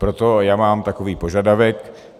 Proto já mám takový požadavek.